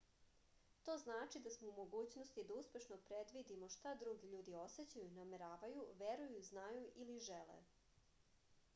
to znači da smo u mogućnosti da uspešno predvidimo šta drugi ljudi osećaju nameravaju veruju znaju ili žele